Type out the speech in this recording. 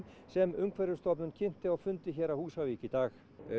sem Umhverfisstofnun kynnti á fundi hér á Húsavík í dag